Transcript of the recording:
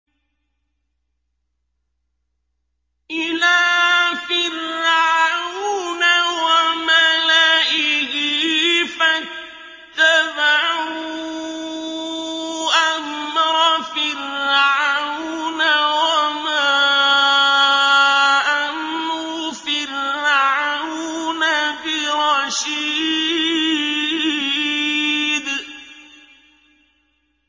إِلَىٰ فِرْعَوْنَ وَمَلَئِهِ فَاتَّبَعُوا أَمْرَ فِرْعَوْنَ ۖ وَمَا أَمْرُ فِرْعَوْنَ بِرَشِيدٍ